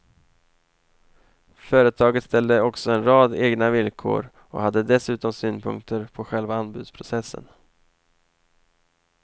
Företaget ställde också en rad egna villkor och hade dessutom synpunkter på själva anbudsprocessen.